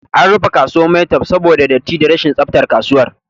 An rufe kasuwan maitwef saboda datti da rashin tsaftar kasuwan